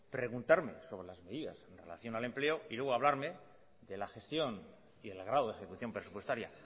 preguntarme sobre las medidas en relación al empleo y luego hablarme de la gestión y el grado de ejecución presupuestaria